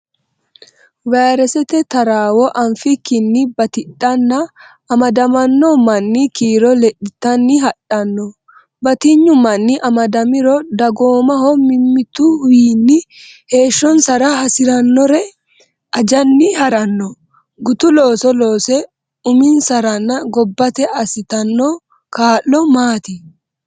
Vayresete taraawo anfikkinni batidhanna amadamanno manni kiiro lexxitanni hadhanno. Batinyu manni amadamiro, dagoomaho mimmituwiinni heeshshonsara hasidhannori ajanni ha’ranno. Gutu looso loosse uminsaranna gobbate assitanno kaa’lo maati?